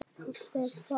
Pabbi er farinn.